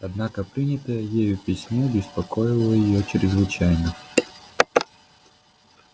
однако принятое ею письмо беспокоило её чрезвычайно